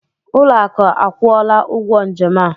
Ụlọakụ akwụọla ụgwọ njem a.